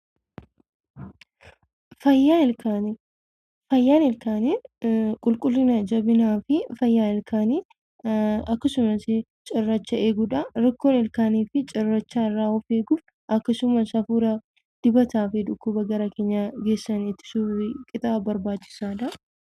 Fayyaan ilkaanii qulqullina, fi jabina ilkaanii sirriitti eeguudha. Akkasumas cirrachaa adda addaa fi dibatawwan foolii qaban kan dhiibbaa geessisuu danda'an irraa of eeguun barbaachisaadha.